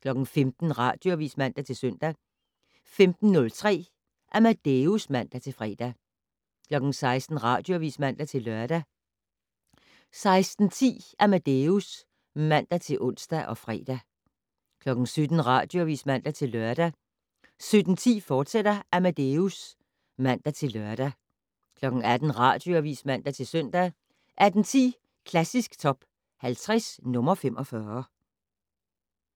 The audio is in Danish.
15:00: Radioavis (man-søn) 15:03: Amadeus (man-fre) 16:00: Radioavis (man-lør) 16:10: Amadeus (man-ons og fre) 17:00: Radioavis (man-lør) 17:10: Amadeus, fortsat (man-lør) 18:00: Radioavis (man-søn) 18:10: Klassisk Top 50 - nr. 45